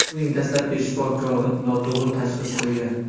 Uning dastlabki shifokori noto‘g‘ri tashxis qo‘ygan.